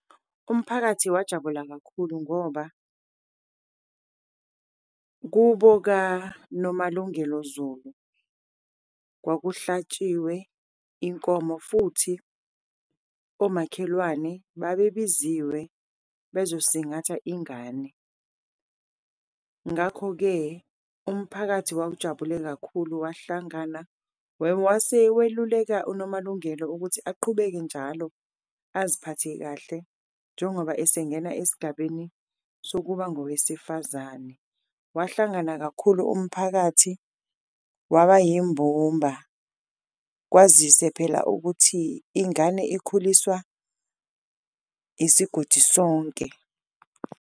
Umphakathi wajabula kakhulu ngoba kubo kaNomalungelo Zulu kwakuhlatshiwe inkomo futhi omakhelwane babebiziwe bezosingatha ingane, ngakho-ke umphakathi wawujabulile kakhulu wahlangana. Wase weluleka uNomalungelo ukuthi aqhubeke njalo aziphathe kahle njengoba esengena esigabeni sokuba ngowesifazane, wahlangana kakhulu umphakathi waba yimbumba, kwazise phela ukuthi ingane ikhuliswa isigodi sonke.